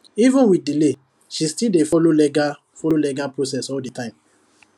even with delay she still dey follow legal follow legal process all the time